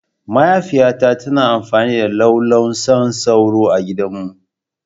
Mahaifiyata tana amfani da lallausan sauro A gidanmu.